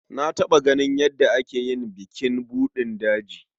Na taɓa ganin yadda ake yin bukin buɗin daji.